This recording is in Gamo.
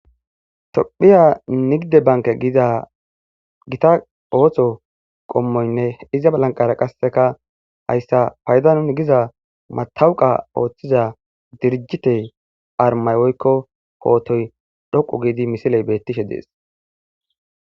tophiya nigide banke giida gita oohtho qommoynne iza balanqara qasseka hayssa payda nuni giza matawuqa ooththiza dirjite armay woykko hootoy dhoqu giidi misiley beettishe dees